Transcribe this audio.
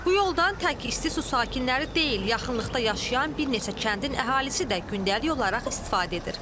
Bu yoldan tək İstisu sakinləri deyil, yaxınlıqda yaşayan bir neçə kəndin əhalisi də gündəlik olaraq istifadə edir.